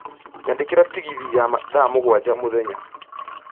nyandĩkĩra tegithi ya thaa mũgwanja mũthenya